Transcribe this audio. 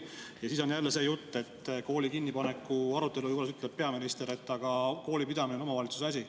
Ja siis on jälle see jutt, et kooli kinnipaneku arutelu juures ütleb peaminister, et koolipidamine on omavalitsuse asi.